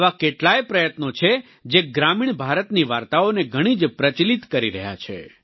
આવા કેટલાય પ્રયત્નો છે જે ગ્રામિણ ભારતની વાર્તાઓને ઘણી પ્રચલિત કરી રહ્યા છે